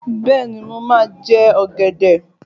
Bẹ́ẹ̀ni, mo máa jẹ ọ̀gẹ̀dẹ̀.